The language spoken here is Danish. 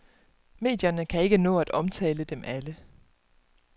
Medierne kan ikke nå at omtale dem alle.